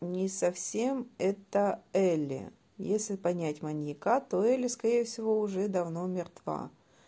не совсем это элли если понять маньяка то элли скорее всего уже давно мертва